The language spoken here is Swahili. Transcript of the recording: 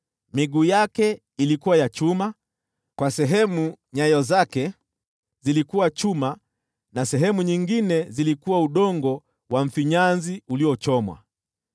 miguu yake ilikuwa ya chuma, na nyayo zake zilikuwa chuma nazo sehemu nyingine zilikuwa udongo wa mfinyanzi uliochomwa.